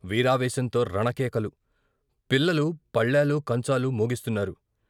వీరావేశంతో రణకేకలు, పిల్లలు పళ్ళాలు, కంచాలు మోగిస్తున్నారు.